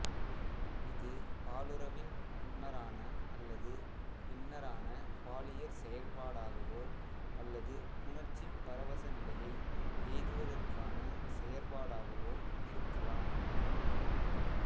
இது பாலுறவின் முன்னரான அல்லது பின்னரான பாலியற் செயற்பாடாகவோ அல்லது புணர்ச்சிப் பரவசநிலையை எய்துவதற்கான செயற்பாடாகவோ இருக்கலாம்